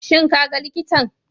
Shin kaga likitan?